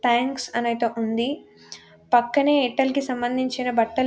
Thanks అనైతే ఉంది. పక్కనే ఎయిర్టెల్ కి సంబంధించిన బట్టలు--